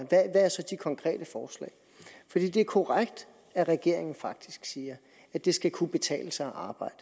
konkrete forslag det er korrekt at regeringen faktisk siger at det skal kunne betale sig at arbejde